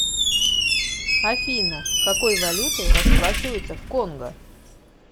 афина какой валютой расплачиваются в конго